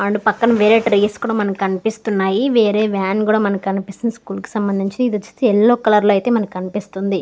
వాళ్ళు పక్కన మనకు కనిపిస్తుంది వేరే వ్యాన్ కూడా మనకు కనిపిస్తుంది స్కూల్ కి సంభందించి ఇదైతే యెల్లో కలర్ లో మనకు కనిపిస్తుంది.